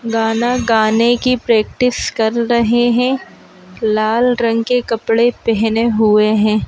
गाना गाने की प्रैक्टिस कर रहे हैं लाल रंग के कपड़े पहने हुए हैं।